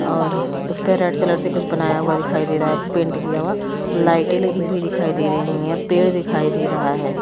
और उसपर red colour से कुछ बनाया हुआ दिखाई दे रहा है पेंट किया हुआ लाइटे लगी हुई दिखाई दे रही है पेड़ दिखाई दे रहा है।